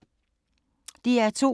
DR2